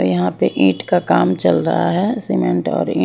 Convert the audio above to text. यहां पे ईंट का काम चल रहा है सीमेंट और ईट--